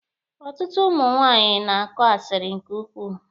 Ọtụtụ ụmụ nwaanyị na-akọ asiri nke ukwuu.